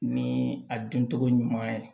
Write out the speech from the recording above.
Ni a duncogo ɲuman ye